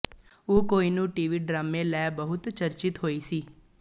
ਉਹ ਕੋਹਿਨੂਰ ਟੀਵੀ ਡਰਾਮੇ ਲੈ ਬਹੁਤ ਚਰਚਿਤ ਹੋਈ ਸੀ